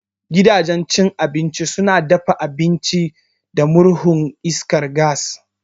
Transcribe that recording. Gidanjen cin abinci suna dafa abinci da murhu na iskar gas